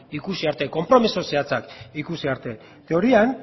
ikusi arte konpromezu zehatzak ikusi arte teorian